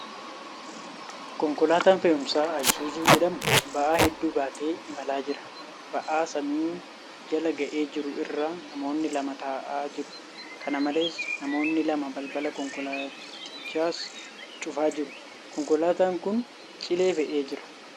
Konkolaataan fe'umsaa Ayisuuzuu jedhamu ba'aa hedduu baatee imalaa jira. Ba'aa samii jala ga'ee jiru irra namoonni lama taa'aa jiru. Kana malees, namoonni lama balbala konkolaatichas cufaa jiru. Konkolaataan kun cilee fe'ee jira.